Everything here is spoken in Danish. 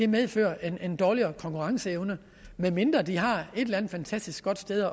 medfører en dårligere konkurrenceevne medmindre de har et eller andet fantastisk godt sted